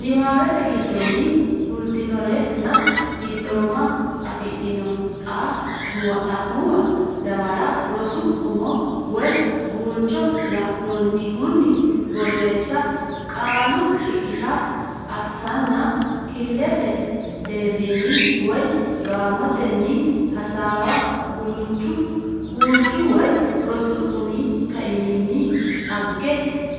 niwaate giddonni fultinorenna fiixooma afidhino xa muwa dawara rosu umo woy guulcho la annohunni borreessa Qaalu shiqishsha assanna kifilete deerrinni woy gaamotenni hasaawa Guulchu woy rosu umi kaiminni dhagge